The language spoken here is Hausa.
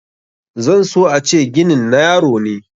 zan so a ce ginin na yaro ne